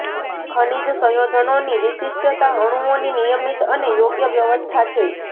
ખનિજ સંયોજનોની વિશિષ્ટતા અણુઓની નિયમિત અને યોગ્ય વ્યવસ્થા છે